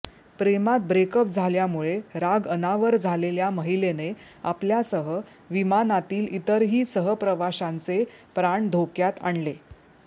प्रेमात ब्रेकअप झाल्यामुळे राग अनावर झालेल्या महिलेने आपल्यासह विमानातील इतरही सहप्रवाशांचे प्राण धोक्यात आणले